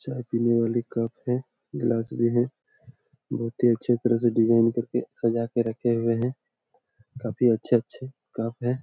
चाय पिने वाली कप है गिलाश भी है बहुत ही अच्छे तरीके से डिज़ाइन करके सजा कर के रखे हुए हैं काफी अच्छे - अच्छे कप है ।